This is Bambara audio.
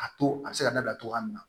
A to a bɛ se ka dabila cogoya min na